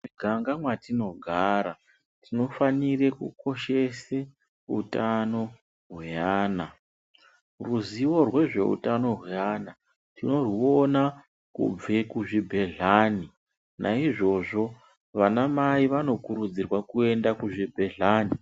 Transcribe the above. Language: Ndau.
Muganga mwatinogara tinofanire kukoshese utano hweana. Ruzivo rwezveutano hweana tinorwuona kubve kuzvibhedlani. Naizvozvo vanamai wanokurudzirwa kuenda kuzvibhedlani.